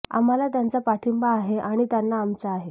आम्हाला त्यांचा पाठींबा आहे आणि त्यांना आमचा आहे